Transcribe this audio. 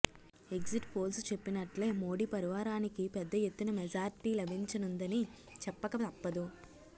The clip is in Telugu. ఎగ్జిట్ పోల్స్ చెప్పినట్లే మోడీ పరివారానికి పెద్ద ఎత్తున మెజార్టీ లభించనుందని చెప్పక తప్పదు